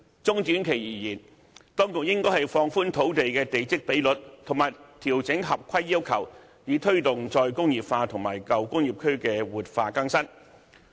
中短期而言，當局應放寬土地的地積比率，以及調整合規要求，以推動"再工業化"和舊工業區活化更新。